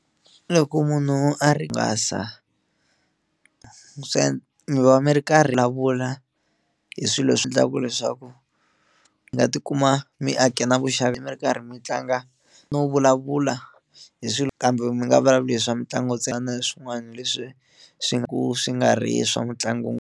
Loko munhu a ringasa mi va mi ri karhi vulavula hi swilo leswi endlaku leswaku mi nga tikuma mi ake na vuxavi mi ri karhi mi tlanga no vulavula hi swilo kambe mi nga vulavuli hi swa mitlangu ntsena na swin'wana leswi swi nga ku swi nga ri swa mutlangu .